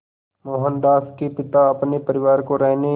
मोहनदास के पिता अपने परिवार को रहने